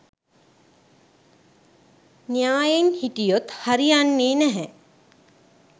න්‍යායෙන් හිටියොත් හරි යන්නේ නැහැ